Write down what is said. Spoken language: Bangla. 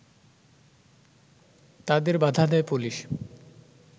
তাদের বাধা দেয় পুলিশ